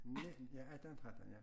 Ja 18 13 ja